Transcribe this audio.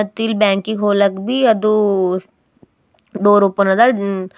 ಮತ್ತೆ ಇಲ್ಲಿ ಬ್ಯಾಂಕ್ ಇಗ್ ಹೋಗಲಾಕ ಬಿ- ಅದು ಡೋರ್ ಓಪನ್ ಅದ ಮ್ಮ್ --